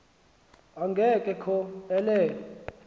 enge kho elele